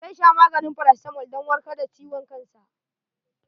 Zai sha maganin farasitamol dan warkar da ciwon kansa.